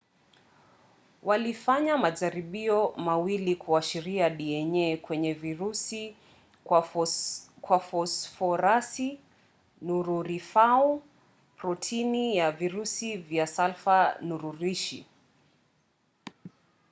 walifanya majaribio mawili kuashiria dna kwenye virusi kwa fosforasi nururifuau protini ya virusi kwa salfa nururishi